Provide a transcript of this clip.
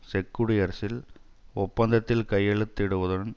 check குடியரசில் ஒப்பந்தத்தில் கையெழுத்திடுவதுடன்